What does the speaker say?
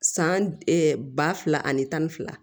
San ba fila ani tan ni fila